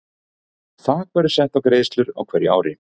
Þak verður sett á greiðslur á hverju ári.